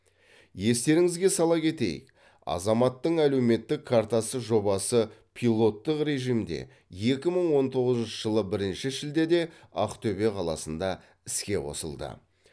естеріңізге сала кетейік азаматтың әлеуметтік картасы жобасы пилоттық режимде екі мың он тоғызыншы жылы бірінші шілдеде ақтөбе қаласында іске қосылды